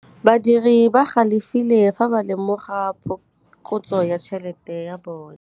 Badiri ba galefile fa ba lemoga phokotsô ya tšhelête ya bone.